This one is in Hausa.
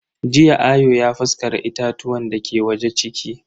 Jiya Ayo ya faskara itatuwan dake waje ciki.